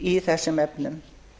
í þessum efnum